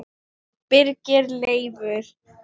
Birgir Leifur